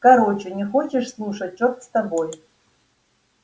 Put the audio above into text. короче не хочешь слушать черт с тобой